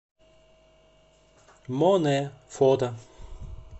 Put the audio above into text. моне фото